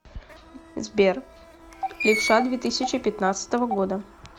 сбер левша две тысячи пятнадцатого года